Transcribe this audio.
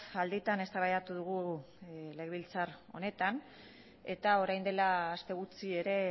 alditan eztabaidatu dugu legebiltzar honetan eta orain dela aste gutxi ere